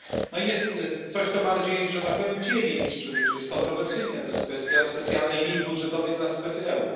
No i jest coś, co bardziej że tak powiem dzieli czy jest kontrowersyjne to jest kwestia specjalnej linii budżetowej dla strefy euro.